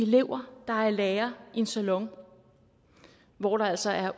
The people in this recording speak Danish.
elever der er i lære i en salon hvor der altså er